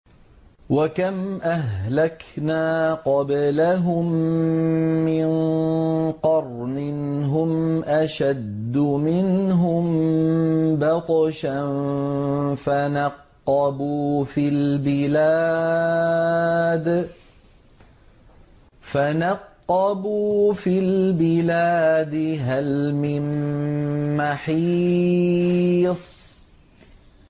وَكَمْ أَهْلَكْنَا قَبْلَهُم مِّن قَرْنٍ هُمْ أَشَدُّ مِنْهُم بَطْشًا فَنَقَّبُوا فِي الْبِلَادِ هَلْ مِن مَّحِيصٍ